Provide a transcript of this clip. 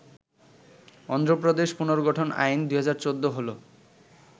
অন্ধ্রপ্রদেশ পুনর্গঠন আইন, ২০১৪ হল